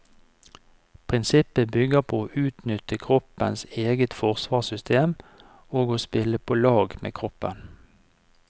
Prinsippet bygger på å utnytte kroppens eget forsvarssystem, og å spille på lag med kroppen.